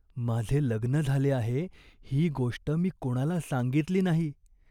माझे लग्न झाले आहे ही गोष्ट मी कोणाला सांगितली नाही.